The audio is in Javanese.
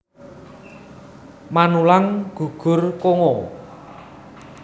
Manulang gugur Kongo